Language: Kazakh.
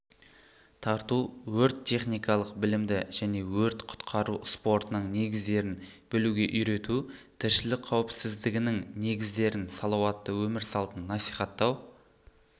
тарту өрт-техникалық білімді және өрт-құтқару спортының негіздерін білуге үйрету тіршілік қауіпсіздігінің негіздерін салауатты өмір салтын насихаттау